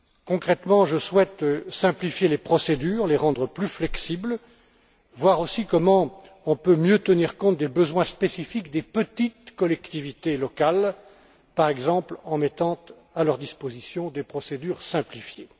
Concrètement, je souhaite simplifier les procédures, les rendre plus flexibles, voir aussi comment on peut mieux tenir compte des besoins spécifiques des petites collectivités locales, par exemple en mettant à leur disposition des procédures simplifiées.